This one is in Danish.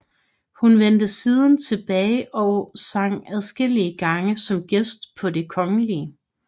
Hun vendte siden tilbage og sang adskillige gange som gæst på Det kgl